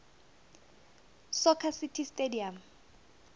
soccer city stadium